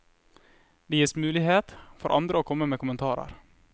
Det gies mulighet for andre å komme med kommentarer.